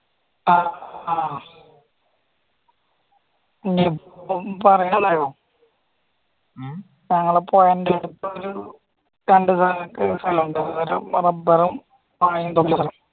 ഉം ആ പറയാലോ താങ്കളെ ഒരു റബ്ബറു